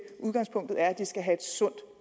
udgangspunktet er at børnene skal have et sundt